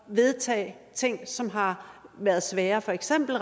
vedtage ting som har været svære for eksempel